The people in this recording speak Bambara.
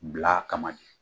Bila a kama de